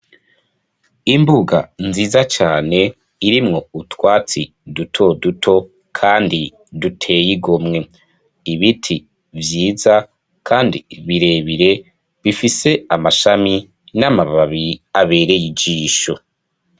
Imbuga nziza cane irimwo utwatsi duto duto, kandi duteyigomwe ibiti vyiza, kandi birebire bifise amashami n'amababi abereye ijisho.